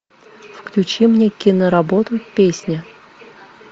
включи мне киноработу песня